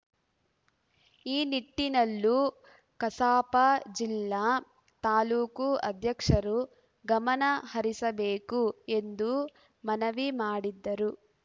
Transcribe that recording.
ಈ ನಿಟ್ಟಿನಲ್ಲೂ ಕಸಾಪ ಜಿಲ್ಲಾ ತಾಲೂಕು ಅಧ್ಯಕ್ಷರು ಗಮನ ಹರಿಸಬೇಕು ಎಂದು ಮನವಿ ಮಾಡಿದ್ದರು